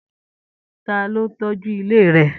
Ta ló n tọ́jú ilé rẹ?